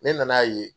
Ne nan'a ye